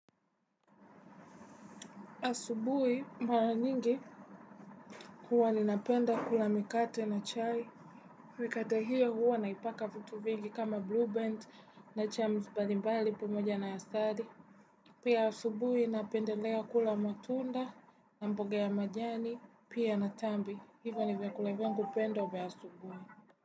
Asubui mara nyingi huwa ninapenda kula mikate na chai. Mikate hio huwa naipaka vitu vingi kama blue band na jams mbali mbali pamoja na asali. Pia asubui napendelea kula matunda na mboga ya majani pia na tambi. Hivyo ni vyakula vyangu pendwa vya asubui.